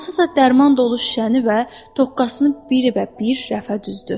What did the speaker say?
hansısa dərman dolu şüşəni və toqqasını birə-bir rəfə düzdü.